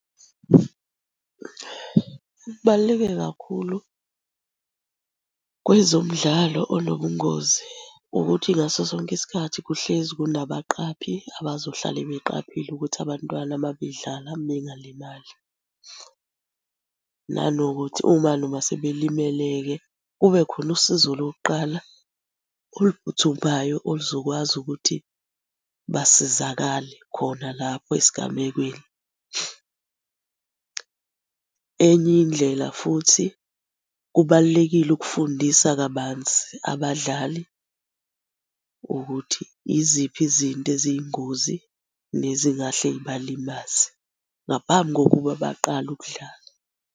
Kubaluleke kakhulu kwezomdlalo onobungozi ukuthi ngaso sonke isikhathi kuhlezi kunabaqaphi abazohlale beqaphile ukuthi abantwana uma bedlala bengalimali. Nanokuthi uma noma sebelimele-ke, kube khona usizo lokuqala oluphuthumayo oluzokwazi ukuthi basizakale khona lapho esigamekweni. Enye indlela futhi kubalulekile ukufundisa kabanzi abadlali ukuthi iziphi izinto eziyingozi nezingahle zibalimaze ngaphambi kokuba baqale ukudlala.